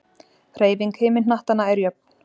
hreyfing himinhnattanna er jöfn